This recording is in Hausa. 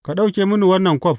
Ka ɗauke mini wannan kwaf.